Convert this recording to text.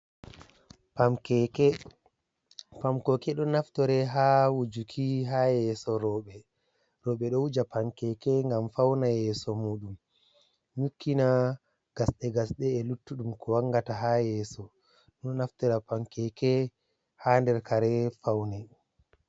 Pam keke, pam keke ni ɗon naftore ha wujuki ha yeso rewɓe, roɓe ɗo wuja pam keke ngam fawna yeso muɗum, nyukkina gasɗe gasɗe e luttuɗum ko wanngata ha yeso, ɗon naftora pam keke ha nder kare pawne.